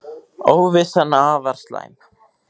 Óvissan afar slæm